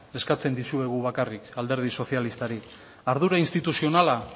eskatzen dizuegu bakarrik alderdi sozialistari ardura instituzionala